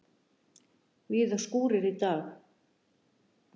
Víða skúrir í dag